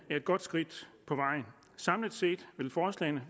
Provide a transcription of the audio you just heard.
er et godt skridt på vejen samlet set vil forslagene